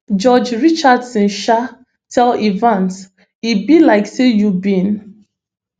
judge richardson um tell evans e be like say you bin